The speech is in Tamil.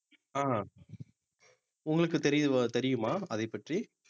அஹ் உங்களுக்கு தெரியு~ தெரியுமா அதைப்பற்றி